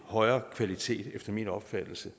højere kvalitet efter min opfattelse